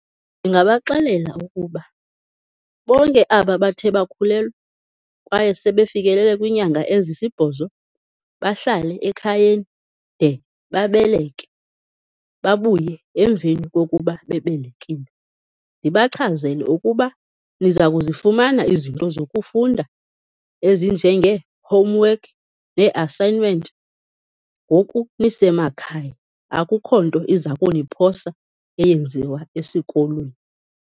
Ndingabaxelela ukuba bonke aba bathe bakhulelwa, kwaye sebefikelele kwiinyanga ezisibhozo bahlale ekhayeni de babeleke, babuye emveni kokuba bebelekile. Ndibachazele ukuba niza kuzifumana izinto zokufunda ezinjengee-homework nee-assignment ngoku nisemakhaya, akukho nto iza kuniphosa eyenziwa esikolweni.